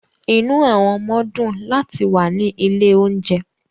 Inú àwọn ọmọ dùn láti wà ní ilé-oúnjẹ.